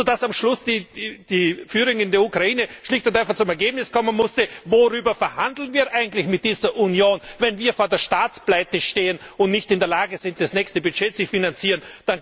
Sodass am Schluss die Führung in der Ukraine schlicht und einfach zum Ergebnis kommen musste Worüber verhandeln wir eigentlich mit dieser Union, wenn wir vor der Staatspleite stehen und nicht in der Lage sind, das nächste Budget zu finanzieren?